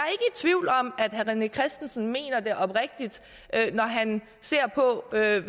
tvivl om at herre rené christensen mener det oprigtigt når han ser på hvad